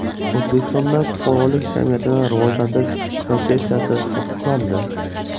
O‘zbekistonda fuqarolik jamiyatini rivojlantirish konsepsiyasi tasdiqlandi.